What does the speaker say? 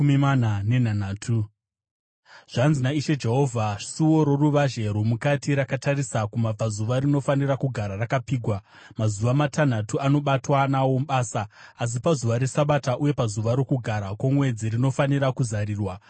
“ ‘Zvanzi naIshe Jehovha: Suo roruvazhe rwomukati rakatarisa kumabvazuva rinofanira kugara rakapfigwa mazuva matanhatu anobatwa nawo basa, asi pazuva reSabata uye pazuva roKugara kwoMwedzi rinofanira kuzarurwa.